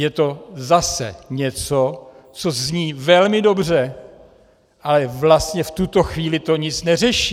Je to zase něco, co zní velmi dobře, ale vlastně v tuto chvíli to nic neřeší.